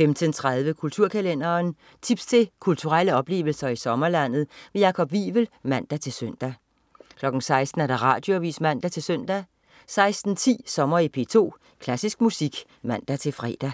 15.30 Kulturkalenderen. Tips til kulturelle oplevelser i sommerlandet. Jakob Wivel (man-søn) 16.00 Radioavis (man-søn) 16.10 Sommer i P2. Klassisk musik (man-fre)